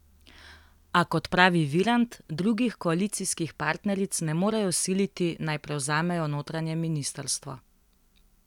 A, kot pravi Virant, drugih koalicijskih partneric ne morejo siliti, naj prevzamejo notranje ministrstvo.